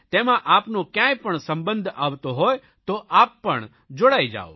તેમાં આપનો કયાંય પણ સંબંધ આવતો હોય તો આપ પણ જોડાઇ જાઓ